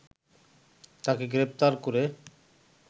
তাকে গ্রেফতার করে